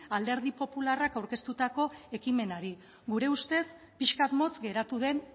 alderdi popularrak aurkeztutako ekimenari gure ustez pixka bat motz geratu den